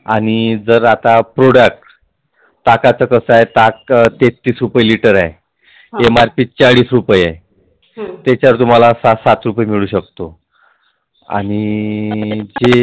आणि जर आता Product ताकाच कसं आहे ताक तेहतीस रूपये. liter आहे MRP चाळीस रूपये आहे त्यात तुम्हाला सात सात रूपये मिळुन शकतो.